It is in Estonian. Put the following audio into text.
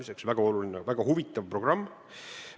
See on väga oluline ja väga huvitav programm.